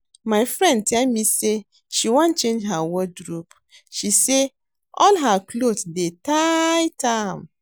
My friend tell me say she wan change her wardrobe, she say all her cloth dey tight am